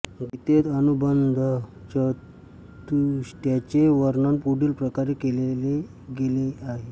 गीतेत अनुबंधचतुष्टयाचे वर्णन पुढील प्रकारे केले गेले आहे